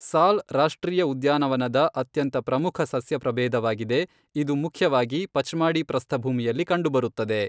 ಸಾಲ್ ರಾಷ್ಟ್ರೀಯ ಉದ್ಯಾನವನದ ಅತ್ಯಂತ ಪ್ರಮುಖ ಸಸ್ಯಪ್ರಭೇದವಾಗಿದೆ, ಇದು ಮುಖ್ಯವಾಗಿ ಪಚ್ಮಾಡಿ ಪ್ರಸ್ಥಭೂಮಿಯಲ್ಲಿ ಕಂಡುಬರುತ್ತದೆ.